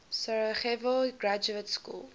sarajevo graduate school